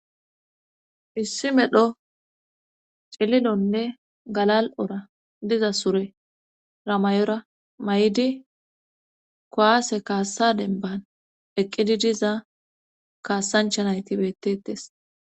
issi medho cililonne galal7ora diza sure ramayora may7idi kowaase kaassa denban eqqidi diza kaassanchanayti bettettes